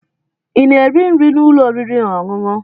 Ị na-eri nri n'ụlọ oriri na ọṅụṅụ?